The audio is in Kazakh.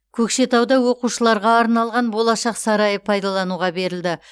көкшетауда оқушыларға арналған болашақ сарайы пайдалануға берілді